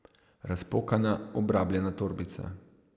Razpokana, obrabljena torbica.